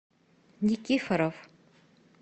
никифоров